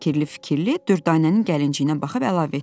Sonra fikirli-fikirli Dürdanənin gəlinciyinə baxıb əlavə etdi: